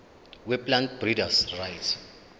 weplant breeders rights